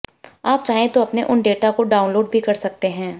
आप चाहें तो अपने उन डेटा को डाउनलोड भी कर सकते हैं